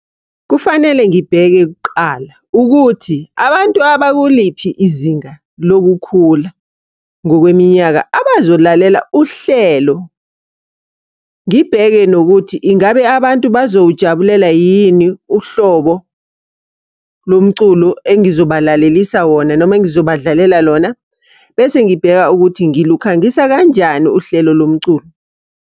Kufanele ngibheke kuqala ukuthi abantu abakuliphi izinga lokukhula ngokweminyaka abazolalela uhlelo. Ngibheke nokuthi ingabe abantu bazowujabulela yini uhlobo lomculo engizobalalelisa wona noma engizobadlalela lona. Bese ngibheka ukuthi ngilukhangisa kanjani uhlelo lomculo.